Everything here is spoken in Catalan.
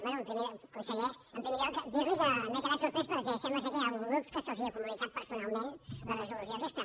bé conseller en primer lloc dir li que m’he quedat sorprès perquè sembla que hi ha grups que se’ls ha comunicat personalment la resolució aquesta